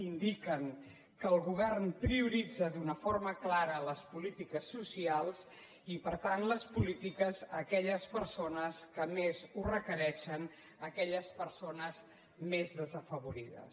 indica que el govern prioritza d’una forma clara les polítiques socials i per tant les polítiques a aquelles persones que més ho requereixen aquelles persones més desafavorides